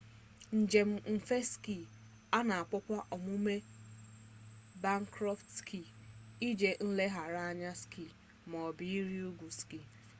njem mfe ski a na-akpọkwa omume a bakkọntrị ski ije nlegharị anya ski maọbụ ịrị ugwu ski